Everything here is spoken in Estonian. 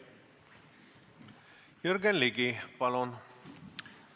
Jürgen Ligi, palun!